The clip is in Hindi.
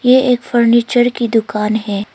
ये एक फर्नीचर की दुकान है।